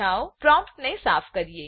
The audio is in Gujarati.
ચાલો પ્રોમ્પ્ટ સાફ કરીએ